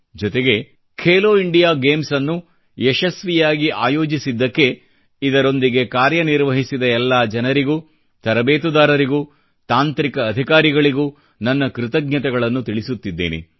ಜೊತೆಗೆ ಖೇಲೋ ಇಂಡಿಯಾ ಗೇಮ್ಸ್ನ್ನು ಯಶಸ್ವಿಯಾಗಿ ಆಯೋಜಿಸಿದ್ದಕ್ಕೆ ಇದರೊಂದಿಗೆ ಕಾರ್ಯ ನಿರ್ವಹಿಸಿದ ಎಲ್ಲಾ ಜನರಿಗೂ ತರಬೇತುದಾರರಿಗೂ ಮತ್ತು ತಾಂತ್ರಿಕ ಅಧಿಕಾರಿಗಳಿಗೂ ನನ್ನ ಕೃತಜ್ಞತೆಗಳನ್ನು ತಿಳಿಸುತ್ತಿದ್ದೇನೆ